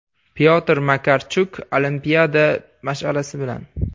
Pyotr Makarchuk olimpiada mash’alasi bilan.